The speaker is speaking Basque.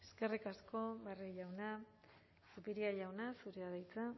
eskerrik asko barrio jauna zupiria jauna zurea da hitza